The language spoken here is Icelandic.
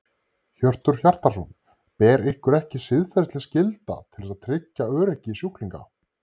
Hjörtur Hjartarson: Ber ykkur ekki siðferðisleg skylda til þess að tryggja öryggi sjúklinga?